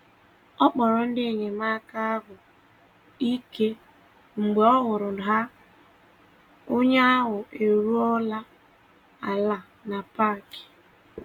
Ọ kpọrọ ndị enyemaka ahụ ike mgbe ọ hụrụ na onye ahụ eruola ala na parki